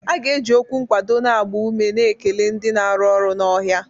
A ga-eji okwu nkwado na-agba ume na-ekele ndị na-arụ ọrụ n'ọhịa